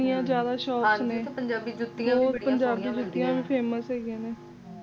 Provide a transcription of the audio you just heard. ਹਾਂ ਜੀ ਬਹੁਤ ਪੰਜਾਬੀ ਜੁੱਤੀਆਂ ਵੀ famous ਹੈਗੀਆਂ ਨੇ